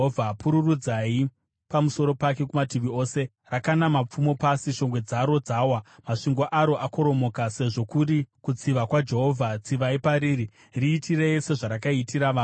Pururudzai pamusoro pake kumativi ose! Rakanda mapfumo pasi, shongwe dzaro dzawa, masvingo aro akoromoka. Sezvo kuri kutsiva kwaJehovha, tsivai pariri; riitirei sezvarakaitira vamwe.